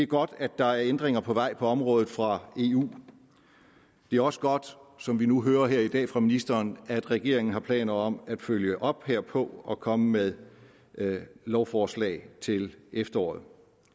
godt at der er ændringer på vej på området fra eu det er også godt som vi nu hører her i dag fra ministeren at regeringen har planer om at følge op herpå og komme med et lovforslag til efteråret